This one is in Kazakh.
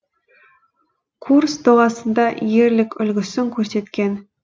курс доғасында ерлік үлгісін көрсеткен